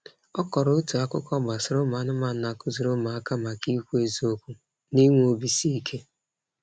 Ọ kọrọ otu akụkọ gbasara ụmụanụmanụ na-akụziri ụmụaka maka ịkwụ eziokwu na inwe obiisiike.